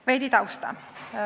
Veidi tausta.